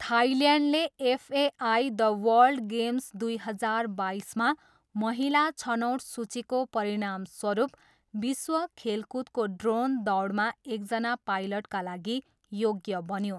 थाइल्यान्डले FAI the world games दुई हजार बाइसमा महिला छनोट सूचीको परिणामस्वरूप विश्व खेलकुदको ड्रोन दौडमा एकजना पाइलटका लागि योग्य बन्यो।